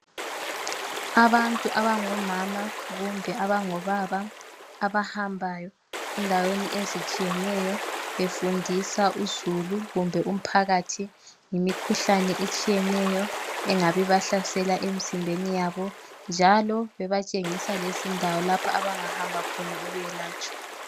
Abantu abangomama kumbe abangobaba abahambayo endaweni ezitshiyeneyo befundisa uzulu kumbe umphakathi ngemikhuhlane etshiyeneyo engabe ibahlasela emzimbeni yabo njalo bebatshengisa lezindawo lapho abangahamba khona beyelatshwe.